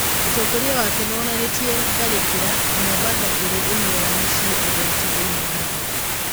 No ũtongoria wake nĩwonanĩtie tharĩkĩra. Na Mombatha ĩrĩ ĩmwe ya mĩciĩ ũgwati thĩiniĩ wa thĩ.